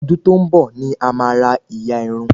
Ọdún tó n bọ ní a má ra ìyà Irun